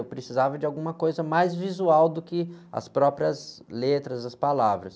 Eu precisava de alguma coisa mais visual do que as próprias letras, as palavras.